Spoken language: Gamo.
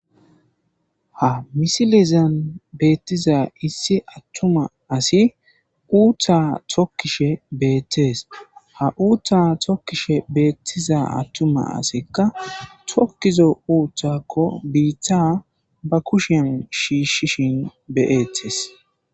Ha missilezan bettiza issi attuma assi uuththa tookishe bettes ha uuththa tookishe bettiza atuma assika be tookizo uuththakko biita ba kushshen shishshishin be'ettes.